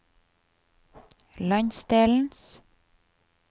landsdelens